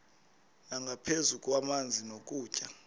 nangaphezu kwamanzi nokutya